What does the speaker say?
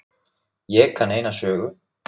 Ég kann eina sögu.